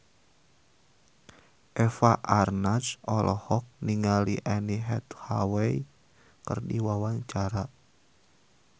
Eva Arnaz olohok ningali Anne Hathaway keur diwawancara